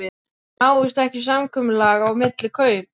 En náist ekki samkomulag á milli kaup.